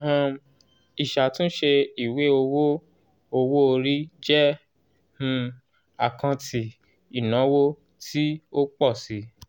um ìṣàtúnṣe ìwé owó owó-orí jẹ́ um àkáǹtì ìnáwó tí ó pọ̀ si.